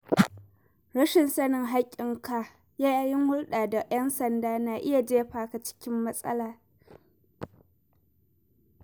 Rashin sanin haƙƙin ka yayin hulɗa da 'yan sanda na iya jefa ka cikin matsala.